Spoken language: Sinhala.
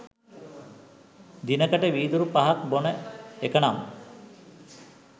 දිනකට වීදුරු පහක් බොන එකනම් ?